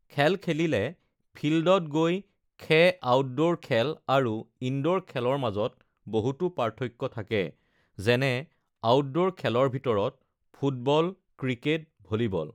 খেল খেলিলে, ফিল্ডত গৈ খে আউটডোৰ খেল আৰু ইনডোৰ খেলৰ মাজত বহুতো পাৰ্থক্য থাকে, যেনে আউটডোৰ খেলৰ ভিতৰত ফুটবল, ক্ৰিকেট, ভলীবল,